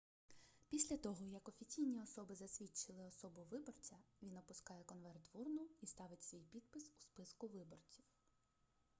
після того як офіційні особи засвідчили особу виборця він опускає конверт в урну і ставить свій підпис у списку виборців